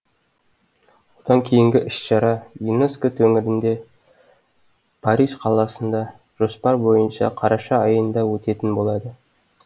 одан кейінгі іс шара юнеско төңірінде париж қаласында жоспар бойынша қараша айында өтетін болады